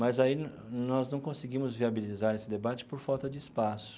Mas aí nós não conseguimos viabilizar esse debate por falta de espaço.